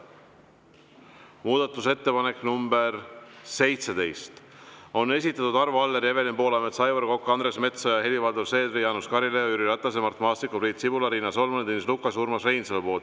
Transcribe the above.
Muudatusettepaneku nr 17 on esitanud Arvo Aller, Evelin Poolamets, Aivar Kokk, Andres Metsoja, Helir-Valdor Seeder, Jaanus Karilaid, Jüri Ratas, Mart Maastik, Priit Sibul, Riina Solman, Tõnis Lukas ja Urmas Reinsalu.